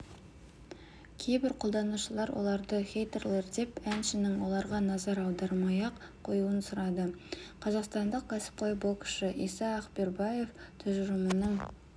кейбір қолданушылар оларды хейтерлер деп әншініңоларға назар аудармай-ақ қоюын сұрады қазақстандық кәсіпқой боксшы иса ақбербаев тұжырымының